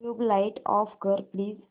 tubelight off कर please